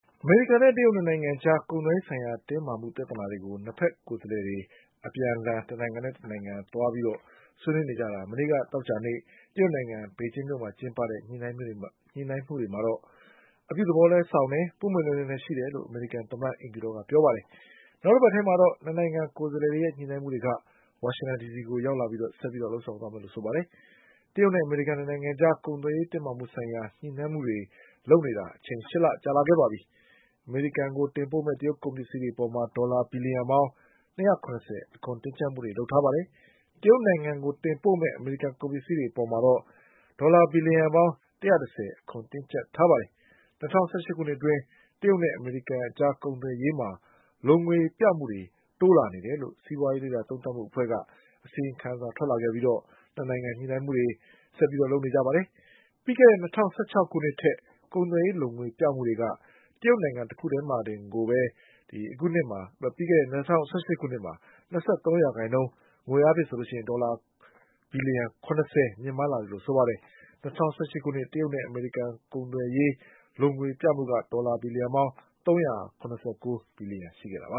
အမေရိကန်နဲ့တရုတ်၂ နိုင်ငံအကြား ကုန်သွယ်ရေးဆိုင်ရာတင်းမာမှုပြဿနာတွေကို ၂ ဘက် ကိုယ်စားလှယ် တွေ အပြန် အလှန်ဆွေးနွေးနေကြတာ မနေ့ကသောကြာနေ့ တရုတ်နိုင်ငံ မြို့တော် ပေကျင်းမှာကျင်းပတဲ့ ညှိနှိုင်းမှုတွေကတော့ အပြုသဘောဆောင်ပြီး ပွင့်ပွင့် လင်းလင်းရှိတယ်လို့ အမေရိကန်သမ္မတအိမ်ဖြူတော်က ပြော ပါတယ်။ နောက်တပတ်ထဲ မှာတော့ ၂ နိုင်ငံ ကိုယ်စားလှယ် တွေရဲ့ ညှိနှိုင်းမှုတွေက ဝါရှင်တန်ဒီစီမှာ ဆက်ပြီး လုပ်ဆောင်သွားမယ်လို့ဆိုပါတယ်။ တရုတ်နဲ့အမေရိကန် ၂ နိုင်ငံအကြား ကုန်သွယ်ရေးတင်းမာမှုဆိုင်ရာ ညှိနှိုင်းမှုတွေ လုပ်နေ တာ အချိန် ၈ လ ကြာ လာပါပြီ။ အမေရိကန်ကိုတင်ပို့မယ့် တရုတ်ကုန်ပစ္စည်းတွေ အပေါ် ဒေါ်လာဘီလျံ ၂၅၀ အခွန်တင်းကျပ် ထားပြီး တရုတ်နိုင်ငံကိုတင်ပို့တဲ့ အမေရိကန် ကုန်ပစ္စည်းတွေ အပေါ် ဒေါ်လာဘီလျံ ၁၁၀ အခွန် တင်းကျပ်ထားပါတယ်။ ၂၀၁၈ ခုနှစ်အတွင်း တရုတ်နဲ့အမေရိကန်အကြား ကုန်သွယ်ရေးမှာ လိုငွေပြမှုတွေ တိုး လာနေ တယ်လို့ စီးပွါးရေး လေ့လာသုံးသပ်မှုအဖွဲ့က အစီရင်ခံစာထွက်လာခဲ့ပြီး ၂ နိုင်ငံ ညှိနှိုင်းမှုတွေလုပ်နေကြတာပါ။ ပြီးခဲ့တဲ့၂၀၁၆ ခုနှစ် ကထက် ကုန်သွယ်ရေးလိုငွေပြမှုတွေက တရုတ်နိုင်ငံ တခုတည်းတင်ကိုပဲ ၂၃ ရာခိုင်နှုန်း၊ ငွေအားဖြင့် ဒေါ်လာ ဘီလျံ ၇၀ မြင့်မားလာ တယ်လို့ဆိုပါတယ်။ ၂၀၁၈ ခုနှစ် တရုတ်နဲ့အမေရိကန် ကုန်သွယ်ရေးလိုငွေပြမှုက ဒေါ်လာ ၃၇၉ ဘီလျံ ရှိခဲ့တာပ